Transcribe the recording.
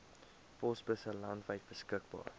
posbusse landwyd beskikbaar